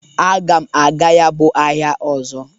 Aga m aga ya bụ ahịa ọzọ.